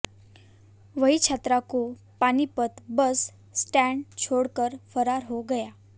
वह छात्रा को पानीपत बस स्टैंड छोड़ कर फरार हो गया